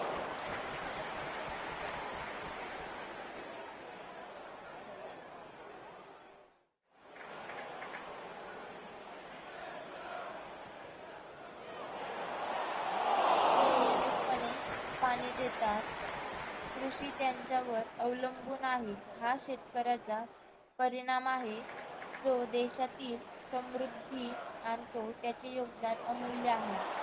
ते नियमितपणे पाणी देतात. कृषी त्यांच्यावर अवलंबून आहे. हा शेतकऱ्याचा परिणाम आहे. जो देशातील समृद्धी आणतो. त्याचे योगदान अमूल्य आहे.